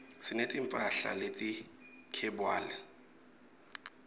sineti mphahla leti khebywali